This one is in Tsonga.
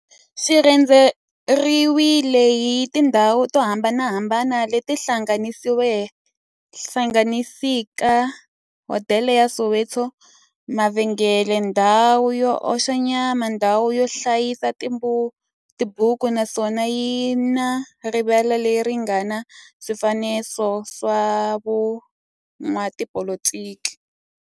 Xi rhendzeriwile hi tindhawu to hambanahambana le ti hlanganisaka, hodela ya Soweto, mavhengele, ndhawu yo oxa nyama, ndhawu yo hlayisa tibuku, naswona yi na rivala le ri nga na swifanekiso swa vo n'watipolitiki.